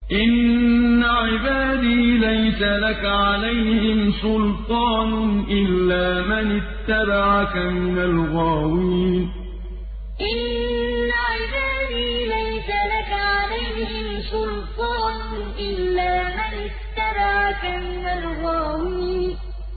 إِنَّ عِبَادِي لَيْسَ لَكَ عَلَيْهِمْ سُلْطَانٌ إِلَّا مَنِ اتَّبَعَكَ مِنَ الْغَاوِينَ إِنَّ عِبَادِي لَيْسَ لَكَ عَلَيْهِمْ سُلْطَانٌ إِلَّا مَنِ اتَّبَعَكَ مِنَ الْغَاوِينَ